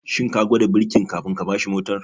Shin ka gwada birkin kafin ka bashi mortar?